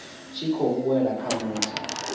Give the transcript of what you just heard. tshi khou wela kha muthu